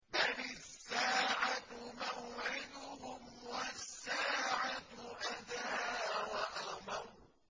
بَلِ السَّاعَةُ مَوْعِدُهُمْ وَالسَّاعَةُ أَدْهَىٰ وَأَمَرُّ